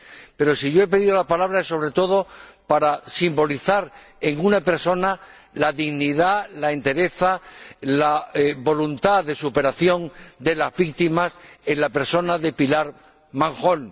Pero si yo he pedido la palabra es, sobre todo, para simbolizar en una persona la dignidad, la entereza, la voluntad de superación de las víctimas, y esta persona es Pilar Manjón.